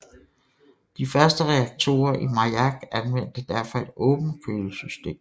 De første reaktorer i Majak anvendte derfor et åbent kølesystem